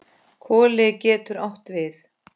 Koli getur átt við